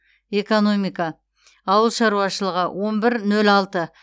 экономика ауыл шаруашылығы он бір нөл алты